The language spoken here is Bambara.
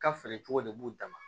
Ka feere cogo de b'u dan ma